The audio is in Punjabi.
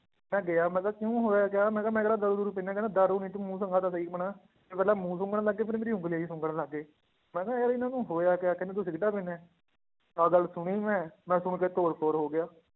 ਮੈਂ ਗਿਆ ਮੈਂ ਕਿਹਾ ਕਿਉਂ ਹੋਇਆ ਕਿਆ ਮੈਂ ਕਿਹਾ ਮੈਂ ਕਿਹੜਾ ਦਾਰੂ ਦੂਰੂ ਪੀਂਦਾ ਹੈ, ਕਹਿੰਦੇ ਦਾਰੂ ਨੀ ਤੂੰ ਮੂੰਹ ਦਿਖਾ ਤਾਂ ਸਹੀ ਆਪਣਾ, ਪਹਿਲਾਂ ਮੂੰਹ ਸੁੰਘਣ ਲੱਗੇ ਫਿਰ ਮੇਰੀ ਉਂਗਲੀਆਂ ਹੀ ਸੁੰਘਣ ਲੱਗ ਗਏ, ਮੈਂ ਕਿਹਾ ਯਾਰ ਇਹਨਾਂ ਨੂੰ ਹੋਇਆ ਕਿਆ ਕਹਿੰਦੇ ਤੂੰ ਸਿਗਰਟਾਂ ਪੀਂਦਾ ਹੈ, ਆਹ ਗੱਲ ਸੁਣੀ ਮੈਂ ਮੈਂ ਸੁਣ ਕੇ ਤੋਰ ਫੋਰ ਹੋ ਗਿਆ